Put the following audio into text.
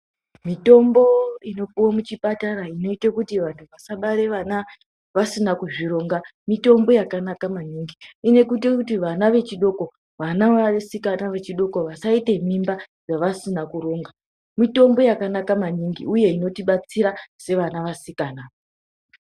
Mitombo inopiwe muchipatara inoita kuti antu asabara ana vasina kuzvironga, mitombo yakanaka maningi. Inoite kuti vana vechidoko, vana vasikana vechidoko vasaita mimba dzavasina kuronga. Mitombo yakanaka maningi uye inotibatsira sevana vasikana.